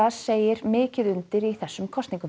segir mikið undir í þessum kosningum